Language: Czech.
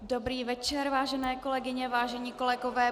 Dobrý večer, vážené kolegyně, vážení kolegové.